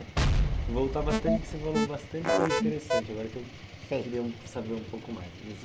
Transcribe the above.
Voltar bastante, porque você falou bastante coisa interessante, agora que eu Sei Queria saber um pouco mais.